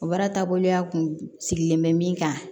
O baara taaboloya kun sigilen bɛ min kan